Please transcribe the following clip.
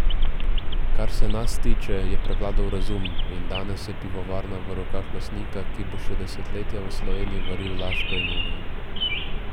Kar se nas tiče, je prevladal razum in danes je pivovarna v rokah lastnika, ki bo še desetletja v Sloveniji varil laško in union.